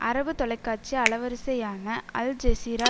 அரபு தொலைக்காட்சி அலைவரிசையான அல் ஜெசீரா